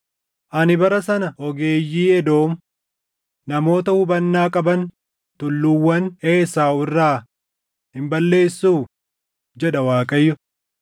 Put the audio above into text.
“Ani bara sana ogeeyyii Edoom, namoota hubannaa qaban tulluuwwan Esaaw irraa hin balleessuu?” jedha Waaqayyo.